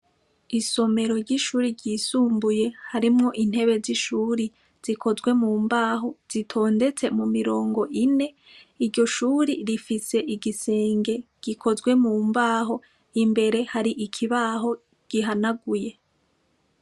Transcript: Isomero ry'ishure ryisumbuye harimwo intebe z'ishure zikozwe mu mbaho, zitondetse mu mirongo ine. Iryo shure rifise igisenge gikozwe mu mbaho, imbere hari ikibaho gihanaguye.